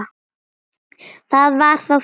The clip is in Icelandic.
Það var þá það.